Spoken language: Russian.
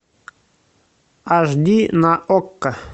аш ди на окко